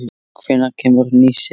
Hvenær kemur ný sería?